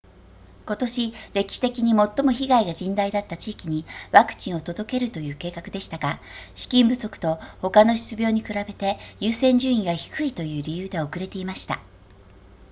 今年歴史的に最も被害が甚大だった地域にワクチンを届けるという計画でしたが資金不足と他の疾病に比べて優先順位が低いという理由で遅れていました